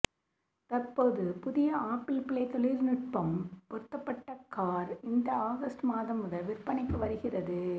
தற்போது புதிய ஆப்பிள்பிளே தொழிற்நுட்பம் பொருத்தப்டபட்ட கார் இந்த ஆகஸ்ட் மாதம் முதல் விற்பனைக்கு வருகிறது